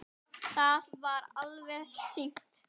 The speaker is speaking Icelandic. Það var alveg víst.